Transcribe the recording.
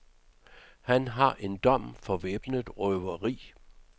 Han har en dom for væbnet røveri.